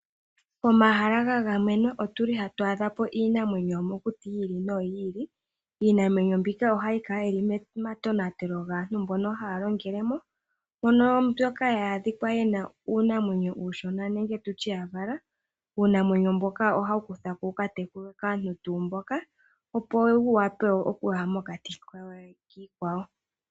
Omahala gagamenwa otuli hatu adhapo iinamwenyo yomokuti yi ili noyi ili. Iinamwenyo mbika ohayi kala yili momatonatelo gaantu mboka haya longele mo mpono mbyoka ya adhikwa yenamo uunamwenyo uushona nenge tutye yavala uunamwenyo mboka ohawu kuthwako wu katekulwe kaantu tuu mboka opo wuyape oku ya mokati kiikwawo.